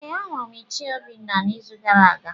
Ee, ahụrụ m Ichie Obinna n’izu gara aga.